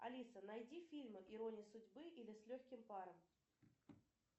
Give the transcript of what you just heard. алиса найди фильмы ирония судьбы или с легким паром